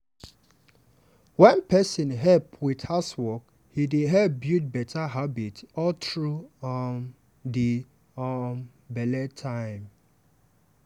wen person help with housework e dey help build better habit all through um di um belle time.